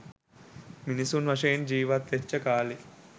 මිනිසුන් වශයෙන් ජීවත් වෙච්ච කාලෙ